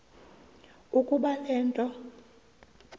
ukuba le nto